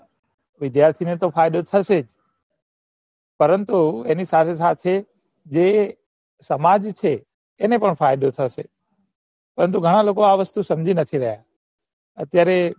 વિધ્યાથીને ને તો ફાયફો થશે જ પરંતુ એની સાથી સાથે જે સમાજ છે એને પણ ફાયદો થશે પરંતુ ઘણા લોકો અ વસ્તુ સમજી નથી રહ્યા અત્યારે